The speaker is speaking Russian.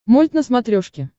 мульт на смотрешке